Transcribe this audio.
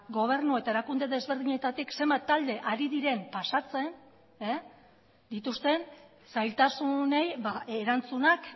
gobernu eta erakunde desberdinetatik zenbat talde ari diren pasatzen dituzten zailtasunei erantzunak